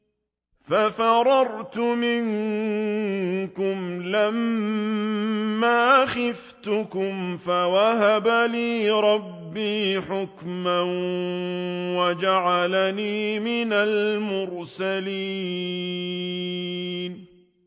فَفَرَرْتُ مِنكُمْ لَمَّا خِفْتُكُمْ فَوَهَبَ لِي رَبِّي حُكْمًا وَجَعَلَنِي مِنَ الْمُرْسَلِينَ